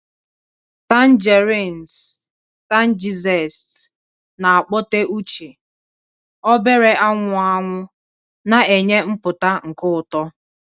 Tangerines 'tangy zest na-akpọte uche, obere anwụ anwụ na-enye mpụta nke ụtọ.